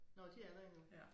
Nåh de er der endnu